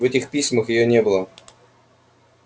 в этих письмах её не было